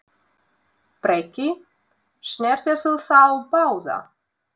Breki: Snertirðu þá báða?